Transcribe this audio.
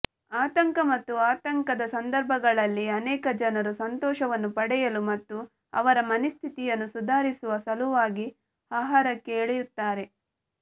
ಆತಂಕ ಮತ್ತು ಆತಂಕದ ಸಂದರ್ಭಗಳಲ್ಲಿ ಅನೇಕ ಜನರು ಸಂತೋಷವನ್ನು ಪಡೆಯಲು ಮತ್ತು ಅವರ ಮನಸ್ಥಿತಿಯನ್ನು ಸುಧಾರಿಸುವ ಸಲುವಾಗಿ ಆಹಾರಕ್ಕೆ ಎಳೆಯುತ್ತಾರೆ